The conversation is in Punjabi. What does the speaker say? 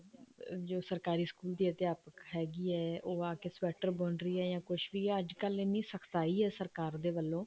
ਅਮ ਜੋ ਸਰਕਾਰੀ ਸਕੂਲ ਦੀ ਅਧਿਆਪਕ ਹੈਗੀ ਹੈ ਉਹ ਆ ਕੇ sweater ਬੁਣ ਰਹੀ ਹੈ ਜਾਂ ਕੁੱਛ ਵੀ ਹੈ ਅੱਜਕਲ ਇੰਨੀ ਸਖਤਾਈ ਹੈ ਸਰਕਾਰ ਦੇ ਵੱਲੋਂ